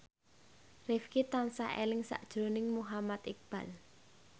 Rifqi tansah eling sakjroning Muhammad Iqbal